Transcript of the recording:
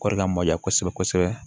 Kɔri ka mayan kosɛbɛ kosɛbɛ